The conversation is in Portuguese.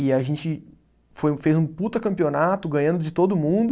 E a gente foi, fez um puta campeonato, ganhando de todo mundo.